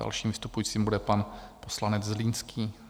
Dalším vystupujícím bude pan poslanec Zlínský.